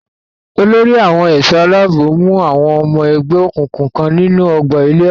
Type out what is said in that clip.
Olórí àwọn ẹ̀ṣọ́-aláàbò mú àwọn ọmọ ẹgbé òkùnkùn kan nínú ọgbà ilé-ẹ̀kọ́.